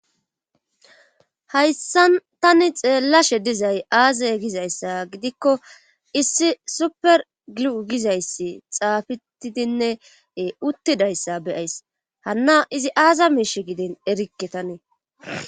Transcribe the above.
Hayssan tani xeellashe dizay aaza gizayssa gidikko issi super gluu gizayssi xaafitidinnee uttidayssa beyays hanna izi aaza miishe giden erikke tanee.